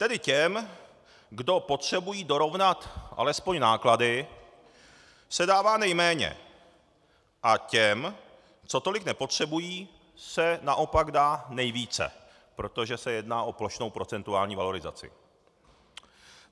Tedy těm, kdo potřebují dorovnat alespoň náklady, se dává nejméně, a těm, co tolik nepotřebují, se naopak dá nejvíce, protože se jedná o plošnou procentuální valorizaci.